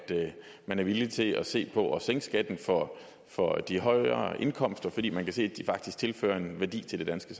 man er villig til at se på det at sænke skatten for for de højere indkomster fordi man kan se at de faktisk tilfører en værdi til det danske